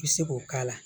I bɛ se k'o k'a la